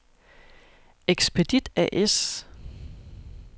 Expedit A/S